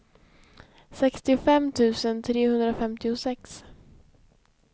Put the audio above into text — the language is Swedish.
sextiofem tusen trehundrafemtiosex